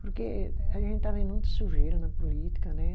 Porque a gente está vendo muita sujeira na política, né?